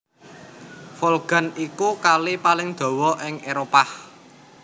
Volga iku Kali paling dawa ing Éropah